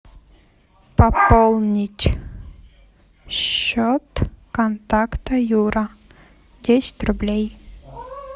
пополнить счет контакта юра десять рублей